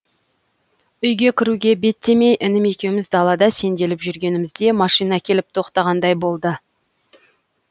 үйге кіруге беттемей інім екеуіміз далада сенделіп жүргенімізде машина келіп тоқтағандай болды